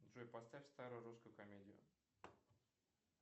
джой поставь старую русскую комедию